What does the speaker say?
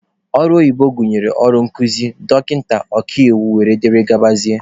Ọrụ oyibo gụnyere ọrụ nkụzi, dọkịta, ọkaiwu wdg.